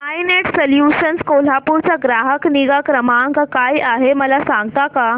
I Net Solutions Kolhapur चा ग्राहक निगा क्रमांक काय आहे मला सांगता का